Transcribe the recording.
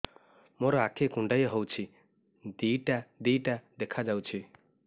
ମୋର ଆଖି କୁଣ୍ଡାଇ ହଉଛି ଦିଇଟା ଦିଇଟା ଦେଖା ଯାଉଛି